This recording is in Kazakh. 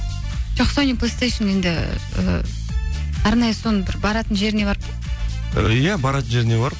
жоқ енді і арнайы соның бір баратын жеріне барып па иә баратын жеріне барып